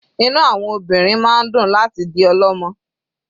Inú àwọn obìnrin máa ń dùn láti di ọlọ́mọ.